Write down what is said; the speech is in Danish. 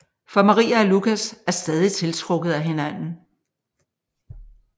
For Maria og Lucas er stadig tiltrukket af hinanden